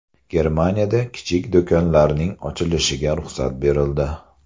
Germaniyada kichik do‘konlarning ochilishiga ruxsat berildi.